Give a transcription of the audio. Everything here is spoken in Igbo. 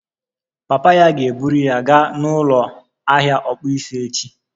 Papa ya ga-eburu ya gaa n'ụlọ ahịa ọkpụisi echi